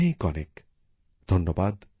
অনেক অনেক ধন্যবাদ